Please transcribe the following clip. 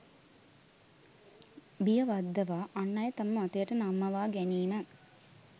බිය වද්දවා අන් අය තම මතයට නම්මවා ගැනීම